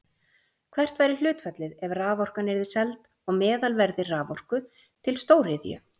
Hvert væri hlutfallið ef raforkan yrði seld á meðalverði raforku til stóriðju?